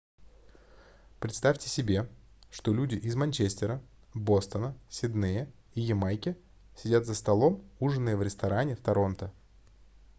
представьте себе что люди из манчестера бостона сиднея и ямайки сидят за столом ужиная в ресторане в торонто